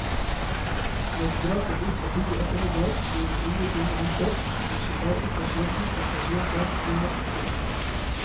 Når det drar seg ut på tidlig ettermiddag blir de unge kvinnene hentet, det skjer bare ytterst sjelden at pasienter blir natten over.